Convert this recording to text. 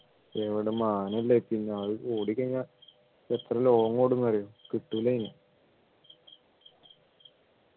എവിടുന്ന് മാനയല്ലേ പിന്നാലെ ഓടിക്കഴിഞ്ഞാൽ എത്ര ലോങ്ങ് ഓടുന്ന് അറിയോ കിട്ടൂല അതിന്